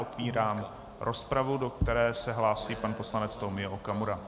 Otevírám rozpravu, do které se hlásí pan poslanec Tomio Okamura.